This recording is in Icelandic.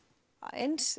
eins